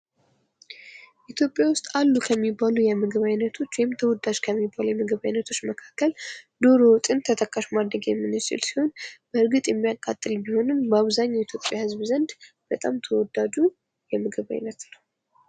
ኢትዮጵያ ውስጥ አሉ ከሚባሉ የምግብ ዓይነቶች ወይም ተወዳጅ ከሚባሉ የምግብ አይነቶች መካከል ዶሮ ወጥን ተጠቃሽ ማድረግ የምንችል ሲሆን በእርግጥ የሚያቃጥል ቢሆንም በአብዛኛው የኢትዮጵያ ህዝብ ዘንድ በጣም ተወዳጁ የምግብ ዓይነት ነው ።